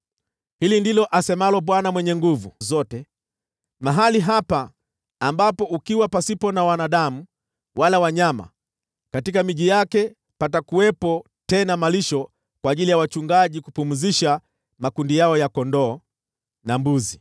“Hili ndilo asemalo Bwana Mwenye Nguvu Zote: ‘Mahali hapa, ambapo ni ukiwa, pasipo na wanadamu wala wanyama: katika miji yake, patakuwepo tena malisho kwa ajili ya wachungaji kupumzisha makundi yao ya kondoo.